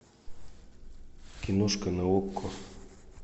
киношка на окко